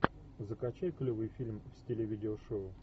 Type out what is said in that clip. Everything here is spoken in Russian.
закачай клевый фильм в стиле видео шоу